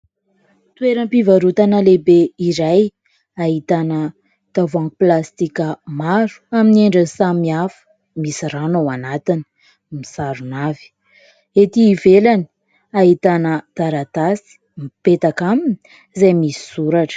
Toeram-pivarotana lehibe iray ahitana tavohangy plastika maro amin'ny endriny samihafa misy rano ao anatiny, misarona avy. Ety ivelany ahitana taratasy mipetaka aminy izay misy soratra.